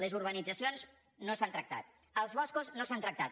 les urbanitzacions no s’han tractat els boscos no s’han tractat